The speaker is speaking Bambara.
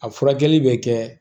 A furakɛli bɛ kɛ